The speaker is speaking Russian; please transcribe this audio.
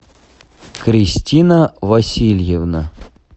кристина васильевна